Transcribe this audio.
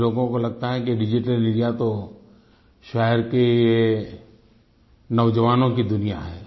कुछ लोगों को लगता है कि डिजिटल इंडिया तो शहर के नौजवानों की दुनिया है